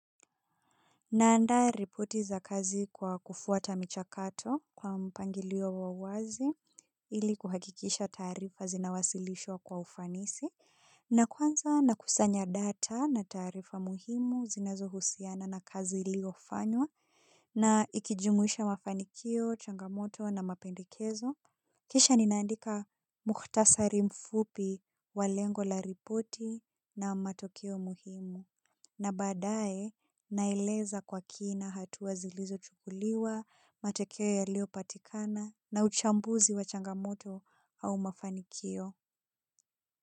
Naanda ripoti za kazi kwa kufuata michakato kwa mpangilio wa wazi ili kuhakikisha taarifa zinawasilishwa kwa ufanisi. Na kwanza na kusanya data na taarifa muhimu zinazohusiana na kazi iliofanywa na ikijumuisha mafanikio, changamoto na mapendekezo. Kisha ninaandika muhtasari mfupi wa lengo la ripoti na matokeo muhimu. Na badae naeleza kwa kina hatua zilizochukuliwa, matokeo yaliopatikana na uchambuzi wa changamoto au mafanikio.